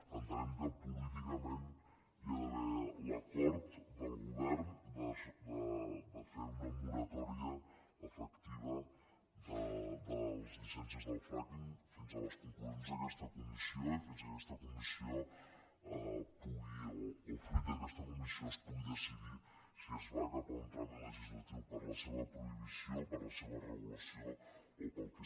entenem que políticament hi ha d’haver l’acord del govern de fer una moratòria efectiva de les llicències del frackingles conclusions d’aquesta comissió i fins que aquesta comissió pugui o fruit d’aquesta comissió es pugui decidir si es va cap a un tràmit legislatiu per a la seva prohibició per a la seva regulació o per al que sigui